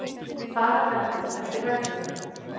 Fara verður eftir reglunum